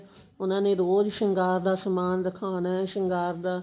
ਉਹਨਾ ਨੇ ਰੋਜ ਸ਼ਿੰਗਾਰ ਦਾ ਸਮਾਨ ਰਖਾਨਾ ਸ਼ਿੰਗਾਰ ਦਾ